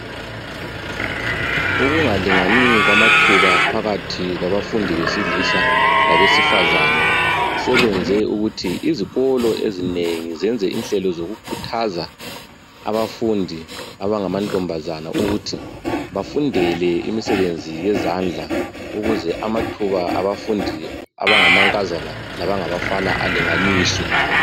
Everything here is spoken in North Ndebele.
Ukungalingani kwamathuba phakathi kwabafundi besilisa labesifazana sekwenze ukuthi izikolo ezinengi zenze inhlelo zokukhuthaza abafundi abangamantombazana ukuthi bafundele imisebenzi yezandla ukuze amathuba abafundi abangabafana labangamankazana alinganiswe.